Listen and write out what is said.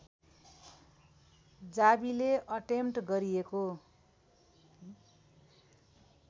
जावीले attempt गरिएको